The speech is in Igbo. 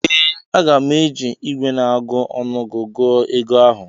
ee, Aga m eji igwe na-agụ ọnụgụ gụọ ego ahụ